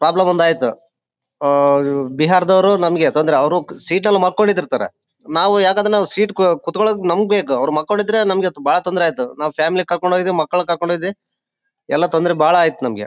Problem ಒಂದಾಯ್ತು ಆಹ್ಹ್ ಬಿಹಾರದವ್ರು ನಮಗೆ ತೊಂದ್ರೆ ಅವ್ರು ಸೀಟಲ್ಲಿ ಮಲ್ಕೊಂಡಿರ್ತಾರೆ ನಾವು ಯಾಕಂದ್ರೆ ಸೀಟ್ ಕುತ್ಕೊಳ್ಳೋದಕ್ಕೆ ನಮ್ಗ್ ಬೇಕು ಅವ್ರ್ ಮೆನ್ಕೊಂದಿದ್ರೆ ಬಹಳ ತೊಂದ್ರೆ ಆಯಿತು ನಾವ್ ಫ್ಯಾಮಿಲಿ ಕರ್ಕೊಂಡ್ ಹೋಗಿದ್ದ್ದೆ ಮಕ್ಕಳ್ ಕರ್ಕೊಂಡ್ ಹೋದೆ ಎಲ್ಲಾ ತೊಂದ್ರೆ ಬಹಳ ಆಯ್ತ್ ನಂಗೆ.